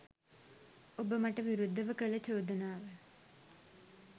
ඔබ මට විරුද්ධව කළ චෝදනාව